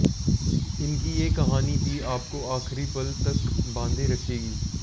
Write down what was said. इनकी ये कहानी भी आपको आखिरी पल तक बांधे रखेगी